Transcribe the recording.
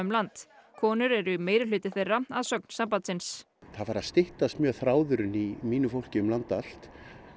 land konur eru meirihluti þeirra að sögn sambandsins það er farið að styttast mjög þráðurinn í mínu fólki um land allt